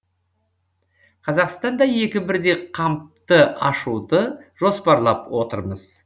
қазақстанда екі бірдей кампты ашуды жоспарлап отырмыз